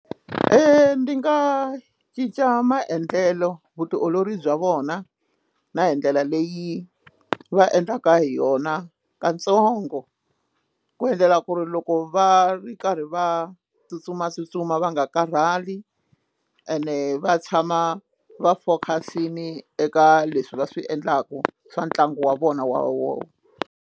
ndi nga cinca maendlelo vutiolori bya vona na hi ndlela leyi va endlaka hi yona katsongo ku endlela ku ri loko va ri karhi va tsutsumatsutsuma va nga karhali ene va tshama va focus-ini eka leswi va swi endlaka swa ntlangu wa vona wa .